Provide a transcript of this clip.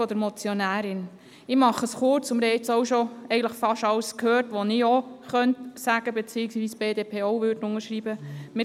Ich fasse mich kurz, denn wir haben schon fast alles gehört, was ich auch sagen könnte und was die BDP auch unterschreiben würde.